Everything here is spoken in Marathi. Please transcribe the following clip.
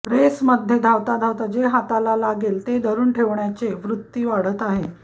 रेसमधे धावता धावता जे हाताला लागेल ते धरुन ठेवण्याचे वृत्ती वाढत आहे